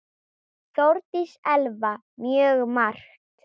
Þórdís Elva: Mjög margt.